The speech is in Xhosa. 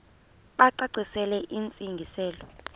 bacacisele intsi ngiselo